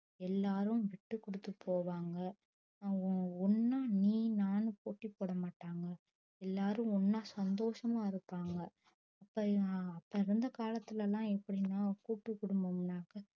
எல்லாரும் விட்டு குடுத்து போகவாங்க ஒன்னா நீ நானு போட்டி போடமாட்டங்க எல்லாரும் ஒன்னா சந்தோஷமா இருபாங்க அப்ப அப்ப இருந்த காலத்துலலா எப்டின்னா ஒரு கூட்டு குடும்பம்னாக்க